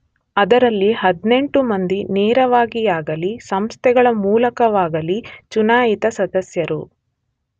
ಅದರಲ್ಲಿ 18 ಮಂದಿ ನೇರವಾಗಿಯಾಗಲಿ ಸಂಸ್ಥೆಗಳ ಮೂಲಕವಾಗಲಿ ಚುನಾಯಿತ ಸದಸ್ಯರು.